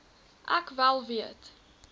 ek wel weet